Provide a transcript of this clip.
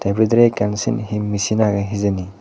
bidirey ekkan sen hi misin agey hijeni.